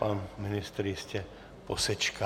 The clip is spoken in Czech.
Pan ministr jistě posečká.